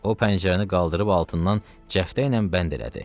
O pəncərəni qaldırıb altından cəftəylə bənd elədi.